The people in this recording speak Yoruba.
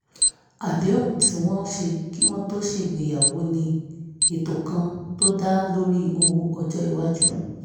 àdéhùn tí wọ́n ṣe kí wọ́n tó ṣègbéyàwó ní ètò kan tó dá lórí ìtọ́jú owó ọjọ́ iwájú